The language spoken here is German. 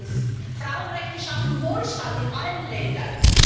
Drittens Frauenrechte schaffen Wohlstand in allen Ländern.